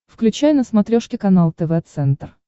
включай на смотрешке канал тв центр